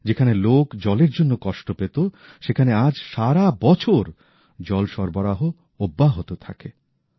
যেখানে লোক জলের জন্য কষ্ট পেত সেখানে আজ সারা বছর জলসরবরাহ অব্যাহত থাকে